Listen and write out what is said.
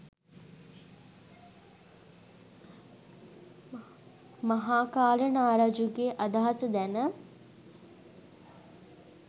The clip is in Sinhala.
මහාකාල නාරජුගේ අදහස දැන